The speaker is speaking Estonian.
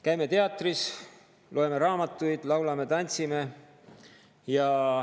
Käime teatris, loeme raamatuid, laulame, tantsime.